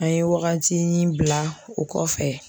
An ye wagatinin bila o kɔfɛ